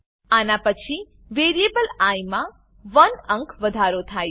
આના પછી variable I માં 1 અંક વધારો થાય છે